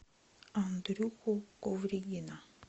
андрюху ковригина